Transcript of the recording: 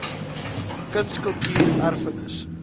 kuns kultuur erfenis